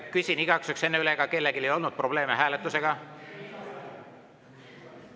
Küsin igaks juhuks enne üle, ega kellelgi ei olnud probleeme hääletusega.